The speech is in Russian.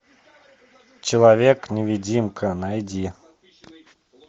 человек невидимка найди